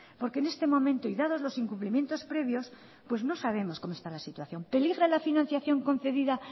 porque en este momento y dados los incumplimientos previos no sabemos cómo está la situación peligra la financiación concedida